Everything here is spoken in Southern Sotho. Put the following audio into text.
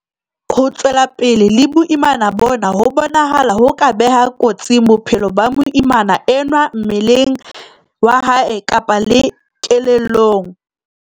Ho tswela pele le boimana bona ho bonahala ho ka beha kotsing bophelo ba moimana enwa mmeleng wa hae kapa kelellong.